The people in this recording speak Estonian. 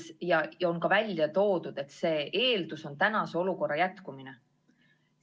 Ühtlasi on välja toodud, et selle eeldus on praeguse olukorra jätkumine.